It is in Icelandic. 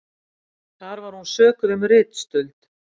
Þar var hún sökuð um ritstuld